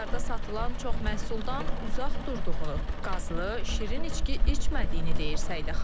Mağazalarda satılan çox məhsuldan uzaq durduğunu, qazlı, şirin içki içmədiyini deyir Səidə xanım.